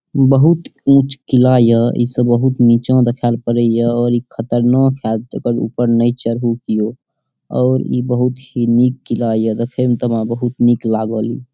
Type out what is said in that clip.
बहुत उच्च किला या ई से बहुत नीचा दिखाइल पड़े या और ई खतरनाक हायत एकर ऊपर ने चढू कियो और ई बहुत ही निक किला या देखे में त हमरा बहुत निक लागल ।